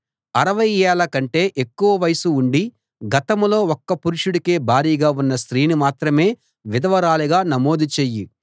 అరవై ఏళ్ళ కంటే ఎక్కువ వయస్సు ఉండి గతంలో ఒక్క పురుషుడికే భార్యగా ఉన్న స్త్రీని మాత్రమే విధవరాలిగా నమోదు చెయ్యి